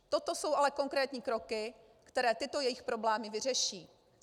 Toto jsou ale konkrétní kroky, které tyto jejich problémy vyřeší.